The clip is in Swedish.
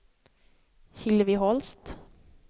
Hillevi Holst